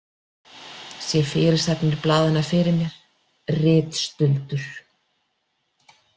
Sé fyrirsagnir blaðanna fyrir mér: Ritstuldur!